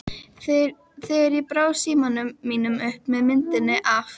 þegar ég brá símanum mínum upp með myndinni af